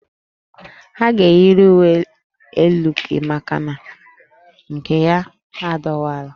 Ọ ga-eyiri uwe elu gị maka na nke ya adọwawo